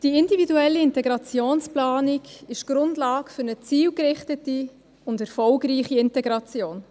Die individuelle Integrationsplanung ist Grundlage für eine zielgerichtete und erfolgreiche Integration.